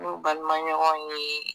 N'u balimaɲɔgɔn ye.